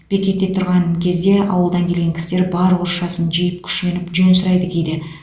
бекетте тұрған кезде ауылдан келген кісілер бар орысшасын жиып күшеніп жөн сұрайды кейде